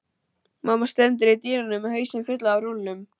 Mamma stendur í dyrunum með hausinn fullan af rúllum.